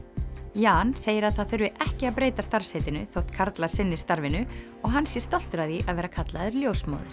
Jan segir að það þurfi ekki að breyta starfsheitinu þótt karlar sinni starfinu og hann sé stoltur af því að vera kallaður ljósmóðir